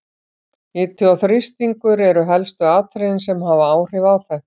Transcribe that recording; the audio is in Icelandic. Hiti og þrýstingur eru helstu atriðin sem hafa áhrif á þetta.